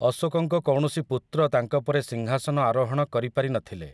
ଅଶୋକଙ୍କ କୌଣସି ପୁତ୍ର ତାଙ୍କ ପରେ ସିଂହାସନ ଆରୋହଣ କରିପାରିନଥିଲେ ।